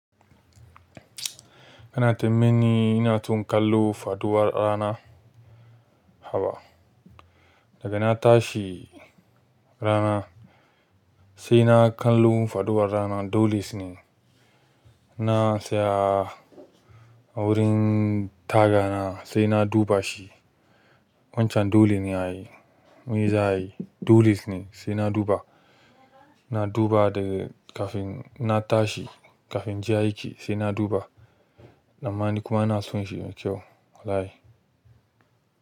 Kana ta mini ina tun kallo faɗuwar rana. Haba daga na tashi rana sai na kallo faɗuwar rana dole su ne. Na tsaya a wurin tagana sai na duba shi. Wancan dole ne a yi. Me za a yi? Dole ne sai na duba. Na duba daga kafin na tashi, kafin inje aiki sai na duba. Dan ma ni kuma ina son shi yayi kyau. Wallahi.